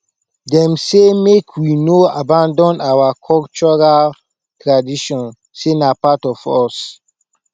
dem say make we no abandon our cultural tradition sey na part of us